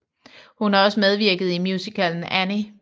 Hun har også medvirket i musicalen Annie